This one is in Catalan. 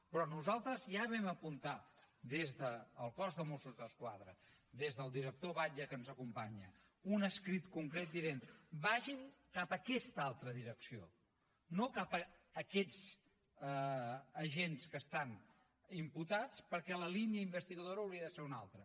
però nosaltres ja vam apuntar des del cos de mossos d’esquadra des del director batlle que ens acompanya un escrit concret dient vagin cap a aquesta altra direcció no cap a aquests agents que estan imputats perquè la línia investigadora hauria de ser una altra